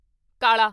ਕਾਲਾ